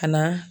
Ka na